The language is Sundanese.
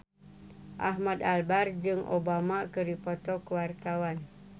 Ahmad Albar jeung Obama keur dipoto ku wartawan